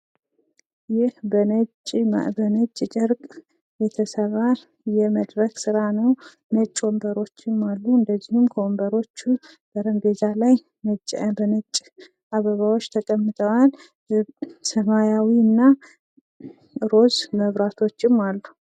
ይህ በነጭ ጨርቅ የተሰራ የመድረክ ሥራ ነው ነጭ ወንበሮችም አሉ፤ እንደዚሁም ከወንበሮቹ ጠረጴዛ ላይ ነጭ አበባዎች ተቀምጠዋል ሰማያዊ እና ሮዝ መብራቶችም አሉ።